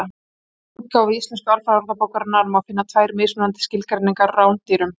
Í vefútgáfu Íslensku alfræðiorðabókarinnar má finna tvær mismunandi skilgreiningar á rándýrum.